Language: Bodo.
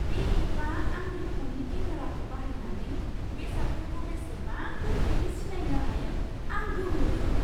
बे एपआ आंनि फननि केमेराखौ बाहायनानै बेसादफोरखौ बेसेबां गोख्रैयै सिनायनो हायो, आं गोमोदों।